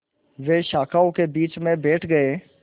वे शाखाओं के बीच में बैठ गए